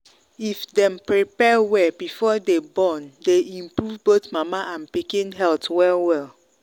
if them prepare well before them borne day improve both mama and pikin health well well.